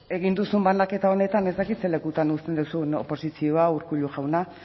egin duzun banaketa honetan ez dakit ze lekutan uzten duzuen oposizioa urkullu jauna